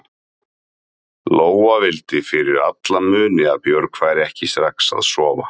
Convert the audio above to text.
Lóa vildi fyrir alla muni að Björg færi ekki strax að sofa.